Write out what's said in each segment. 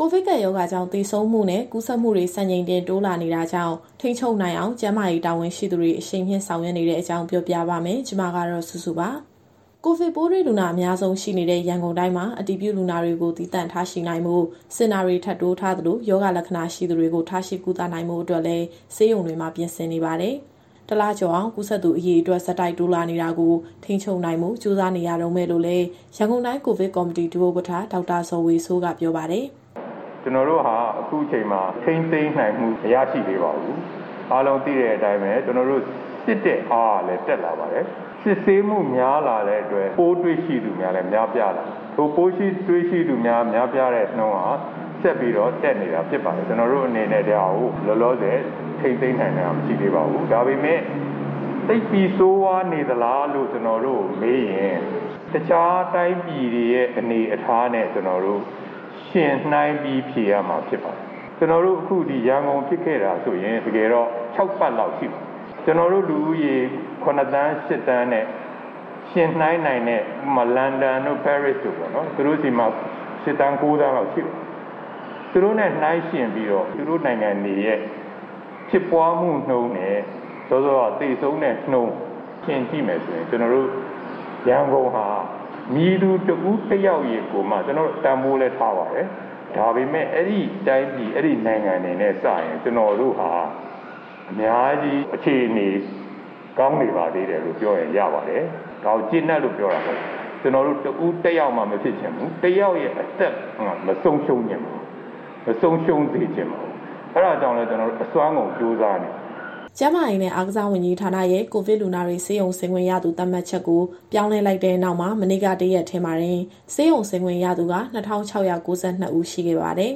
ကိုဗစ်ကပ်ရောဂါကြောင့် သေဆုံးမှုနဲ့ ကူးစက်မှုတွေ စံချိန်တင် တိုးလာနေတာကြောင့် ထိန်းချုပ်နိုင်အောင် ကျန်းမာရေးတာဝန်ရှိသူတွေ အရှိန်မြှင့်ဆောင်ရွက်နေတဲ့အကြောင်း ပြောပြပါမယ်။ ဒီသတင်းကို ဗွီအိုအေမြန်မာပိုင်း သတင်းထောက် မစုစုက တင်ဆက်ပေးမှာပါ။ ကိုဗစ်ပိုးတွေ့လူနာ အများဆုံးရှိနေတဲ့ ရန်ကုန်တိုင်းမှာ အတည်ပြုလူနာတွေကို သီးသန့်ထားရှိနိုင်ဖို့ စင်တာတွေ ထပ်တိုးထားသလို၊ ရောဂါလက္ခဏာရှိသူတွေကို ထားရှိကုသနိုင်ဖို့အတွက်လည်း ဆေးရုံတွေမှာပြင်ဆင်နေပါတယ်။ တလကျော်အောင် ကူးစက်သူ အရေအတွက် ဆက်တိုက် တိုးလာနေတာကို ထိန်းချုပ်နိုင်ဖို့ ကြိုးစားနေရတုန်းပဲလို့လည်း ရန်ကုန်တိုင်းကိုဗစ်ကော်မတီ ဒုဥက္ကဋ္ဌ ဒေါက်တာဇော်ဝေစိုးက ပြောပါတယ်။ “ကျနော်တို့ဟာ အခုချိန်မှာ ထိန်းသိမ်းနိုင်မှု မရရှိသေးပါဘူး။ အားလုံးသိတဲ့အတိုင်းပဲ၊ ကျနော်တို့စစ်တဲ့အားကလည်း တက်လာပါတယ်။ စစ်ဆေးမှုများလာတဲ့အတွက် ပိုးတွေ့ရှိမှုများလည်း များပြားလာပါတယ်။ အခုပိုးတွေ့ရှိသူ များပြားတဲ့နှုန်းက ဆက်ပြီးတော့တက်နေတာဖြစ်ပါတယ်။ ကျနော်တို့အနေနဲ့ ဒီဟာကိုလောလောဆယ် ထိန်းသိမ်းနိုင်တာမရှိသေးပါဘူး။ ဒါပေမဲ့ သိပ်ပြီးဆိုးဝါးနေသလားလို့ ကျနော်တို့ကိုမေးရင် တခြားတိုင်းပြည်တွေရဲ့အနေအထားနဲ့ ယှဉ်နှိုင်းပြီးဖြေရမှာဖြစ်ပါတယ်။ အခုရန်ကုန်ဖြစ်ခဲ့တာဆိုရင် တကယ်တော့ခြောက်ပတ်လောက်ရှိပါပြီ။ ကျနော်တို့လူဦးရေ ၇,၀၀၀,၀၀၀၊ ၈,၀၀၀,၀၀၀ နဲ့ ယှဉ်နှိုင်းနိုင်တဲ့ လန်ဒန်တို့၊ ပဲရစ်တို့ပေါ့နော်။ သူတို့နဲ့နှိုင်းယှဉ်ပြီးတော့ သူတို့နိုင်ငံတွေရဲ့ ဖြစ်ပွားမှုနှုန်းနဲ့ သေဆုံးတဲ့နှုန်းယှဉ်ကြည့်မယ်ဆိုရင် ကျနော်တို့ရန်ကုန်ဟာ မည်သူတဦးတယောက်ကိုမှ ကျနော်တို့တန်ဖိုးလည်းထားပါတယ်။ ဒါပေမဲ့ အဲဒီနိုင်ငံတွေနဲ့စာရင် ကျနော်တို့ဟာ အများကြီးအခြေအနေကောင်းနေပါသေးတယ်လို့ပြောရင် ရပါတယ်။ ဒါကိုကျေနပ်လို့ ပြောတာမဟုတ်ပါဘူး။ ကျနော်တို့တဦးတယောက်မှ မဖြစ်ချင်ဘူး။ တယောက်ရဲ့အသက်မှ မဆုံးရှုံးစေချင်ပါဘူး။ အဲဒါကြောင့်လည်း ကျနော်တို့အစွမ်းကုန်ကြိုးစားနေပါတယ်။" ကျန်းမာရေးနဲ့ အားကစားဝန်ကြီးဌာနရဲ့ ကိုဗစ်လူနာတွေ ဆေးရုံဆင်းခွင့်ရသူ သတ်မှတ်ချက်ကို ပြောင်းလဲလိုက်တဲ့နောက်မှာ မနေ့ကတရက်တည်းမှာ ဆေးရုံဆင်းခွင့်ရသူက ၂,၆၉၂ ဦးရှိခဲ့ပါတယ်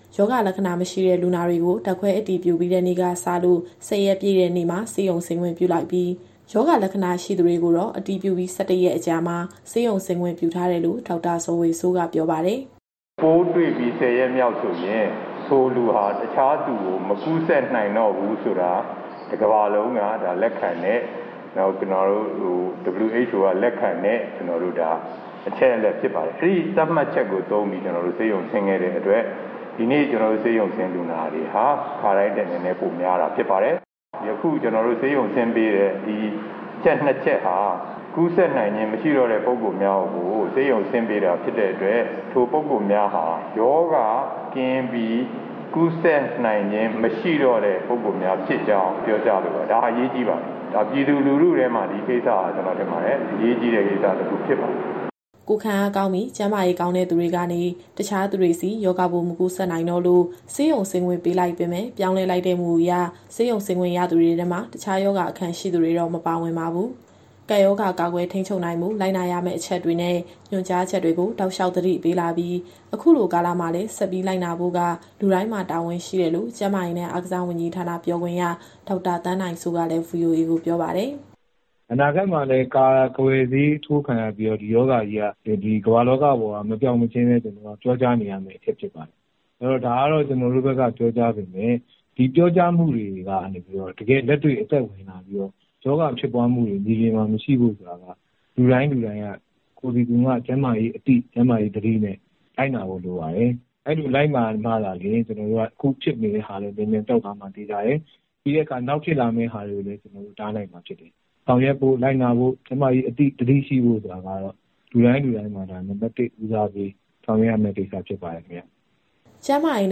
။ ရောဂါလက္ခဏာမရှိတဲ့ လူနာတွေကို ဓာတ်ခွဲအတည်ပြုပြီးတဲ့ နေ့ကစလို့ ၁၀ ရက်ပြည့်တဲ့နေ့မှာ ဆေးရုံဆင်းခွင့်ပြုလိုက်ပြီး၊ ရောဂါလက္ခဏာရှိသူတွေကိုတော့ အတည်ပြုပြီး ၁၁ ရက်ကြာမှာ ဆေးရုံဆင်းခွင့်ပြုထားတယ်လို့ ဒေါက်တာဇော်ဝေစိုးက ပြောပါတယ်။ “ပိုးတွေ့ပြီး ၁၀ ရက်မြောက်ဆိုရင် ထိုလူဟာ တခြားသူကို မကူးစက်နိုင်တော့ဘူးဆိုတာ တကမ္ဘာလုံးက လက်ခံတဲ့၊ WHO က လက်ခံတဲ့ အချက်အလက်ဖြစ်ပါတယ်။ အဲဒီသတ်မှတ်ချက်ကို သုံးပြီး ကျနော်တို့ဆေးရုံဆင်းခဲ့တဲ့အတွက် ဒီနေ့ဆေးရုံဆင်းလူနာတွေဟာ ခါတိုင်းထက်နည်းနည်း ပိုများတာ ဖြစ်ပါတယ်။ ယခုကျနော်တို့ ဆေးရုံဆင်းပေးတဲ့ ဒီအချက်နှစ်ချက်ဟာ ကူးစက်နိုင်ခြင်း မရှိတော့တဲ့ ပုဂ္ဂိုလ်များကို ဆေးရုံဆင်းပေးတာဖြစ်တဲ့အတွက် ထိုပုဂ္ဂိုလ်များဟာ ရောဂါကင်းပြီး ကူးစက်နိုင်ခြင်းမရှိတော့တဲ့ ပုဂ္ဂိုလ်များဖြစ်ကြောင်း ပြောကြားလိုပါတယ်။ ဒါအရေးကြီးပါတယ်။ ဒါပြည်သူလူထုထဲမှာ ဒီကိစ္စဟာ ကျနော်ထင်ပါတယ်၊ အရေးကြီးတဲ့ကိစ္စတခု ဖြစ်ပါတယ်။” ကိုယ်ခံအားကောင်းပြီး၊ ကျန်းမာရေးကောင်းတဲ့သူတွေကနေ တခြားသူတွေဆီ ရောဂါပိုးမကူးစက်နိုင်တော့လို့ ဆေးရုံဆင်းခွင့်ပေးလိုက်ပေမဲ့ ပြောင်းလဲလိုက်တဲ့ မူအရ ဆေးရုံဆင်းခွင့်ရသူတွေထဲမှာ တခြားရောဂါအခံရှိသူတွေတော့ မပါဝင်ပါဘူး။ ကပ်ရောဂါကာကွယ် ထိန်းချုပ်နိုင်ဖို့ လိုက်နာရမယ့်အချက်တွေနဲ့ ညွှန်ကြားချက်တွေကို တောက်လျှောက်သတိပေးလာပြီး အခုလိုကာလမှာလည်း ဆက်ပြီးလိုက်နာဆောင်ရွက်ဖို့က လူတိုင်းမှာတာဝန်ရှိတယ်လို့ ကျန်းမာရေးနဲ့ အားကစားဝန်ကြီးဌာန ပြောခွင့်ရ ဒေါက်တာသန်းနိုင်စိုးကလည်း VOA ကိုပြောပါတယ်။ “အနာဂတ်မှာလည်း ကာကွယ်ဆေးထိုးခံရပြီးတော့ ဒီရောဂါကြီးက ဒီကမ္ဘာလောကပေါ်က မပျောက်မချင်းလည်း ကျနော်တို့ကပြောကြားနေရမယ့် အချက်ဖြစ်ပါတယ်။ အဲတော့ ဒါကတော့ ကျနော်တို့ဘက်က ပြောကြားပေမဲ့ ဒီပြောကြားမှုတွေကနေ တကယ့်အသက်ဝင်လာပြီးတော့ ရောဂါဖြစ်ပွားမှုတွေ မြေပြင်မှာ မရှိဖို့ဆိုတာက လူတိုင်းလူတိုင်းက ကိုယ်စီကိုယ်ငှကျန်းမာရေးအသိ၊ ကျန်းမာရေးသတိနဲ့ လိုက်နာဖို့လိုပါတယ်။ အဲလိုလိုက်နာမှသာလျှင် အခုဖြစ်နေတာလည်း မြန်မြန်ပျောက်သွားမှာ သေချာတယ်။ နောက်ဖြစ်လာမယ့်ဟာတွေကိုလည်း ကျနော်တို့တားနိုင်မှာဖြစ်တယ်။ ဆောင်ရွက်ဖို့၊ လိုက်နာဖို့၊ ကျန်းမာရေးအသိ သတိရှိဖို့ဆိုတာကတော့ လူတိုင်းလူတိုင်းမှာ ဒါနံပတ် ၁ ဦးစားပေးဆောင်ရွက်ရမယ့် ကိစ္စဖြစ်ပါတယ်ခင်ဗျ။” ကျန်းမာရေး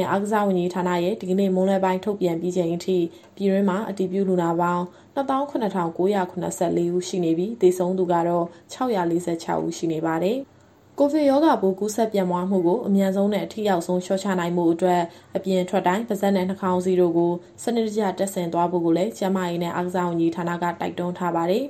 နဲ့ အားကစားဝန်ကြီးဌာနရဲ့ဒီကနေ့ မွန်းလွဲပိုင်းထုတ်ပြန်ပြီးချိန်အထိ ပြည်တွင်းမှာအတည်ပြုလူနာပေါင်း ၂၇,၉၇၄ ဦးရှိနေပြီး၊ သေဆုံးသူကတော့ ၆၄၆ ဦးရှိနေပါတယ်။ ကိုဗစ်ရောဂါပိုး ကူးစက်ပြန့်ပွားမှုကို အမြန်ဆုံးနဲ့ အထိရောက်ဆုံး လျှော့ချနိုင်ဖို့အတွက် အပြင်ထွက်တိုင်း ပါးစပ်နဲ့နှာခေါင်းစည်းတို့ကို စနစ်တကျတပ်ဆင်သွားဖို့ကိုလည်း ကျန်းမာရေးနဲ့ အားကစားဝန်ကြီးဌာနက တိုက်တွန်းထားပါတယ်။